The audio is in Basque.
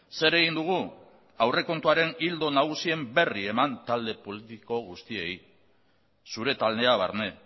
zer egin dugu aurrekontuaren ildo nagusien berri eman talde politiko guztiei zure taldea barne